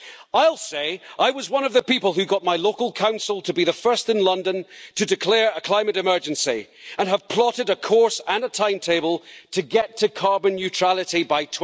I'll say I was one of the people who got my local council to be the first in London to declare a climate emergency and have plotted a course and a timetable to get to carbon neutrality by